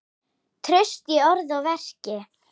Traust í orði og verki.